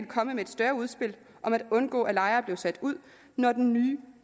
komme med et større udspil om at undgå at lejere blev sat ud når den nye